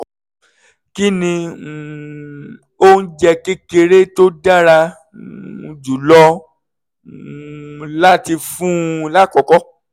kí ni um oúnjẹ kékeré tó dára um jùlọ um láti fún un lákọ̀ọ́kọ́?